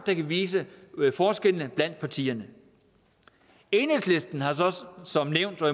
der kan vise forskellene blandt partierne enhedslisten har så også som nævnt og